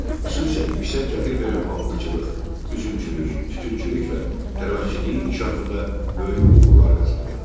Xüsusən yüksək gəlir verən pambıqçılıq, üzümçülük, tütünçülük və tərəvəzçiliyin inkişafında böyük uğurlar qazanıldı.